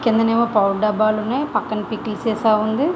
కింద ఏమో పౌడర్ డబ్బాలు ఉన్నాయి పక్కన పికెల్ సీసా ఉన్నది.